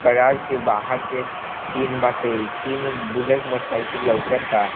Garage के बाहर के सीन बाटे तीन बुलेट मोटर साइकिल लोकाता।